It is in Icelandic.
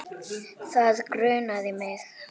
Það grunaði mig.